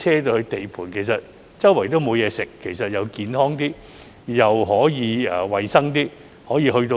地盤周圍沒有東西吃，這樣既健康點，又可以衞生點。